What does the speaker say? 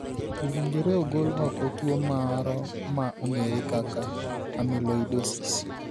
Owinjore ogol oko tuo moro ma ong'ere kaka amyloidosis.